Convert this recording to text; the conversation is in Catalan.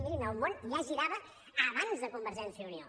mirin el món ja girava abans de convergència i unió